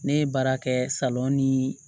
Ne ye baara kɛ ni